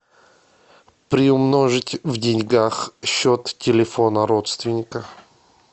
приумножить в деньгах счет телефона родственников